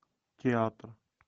театр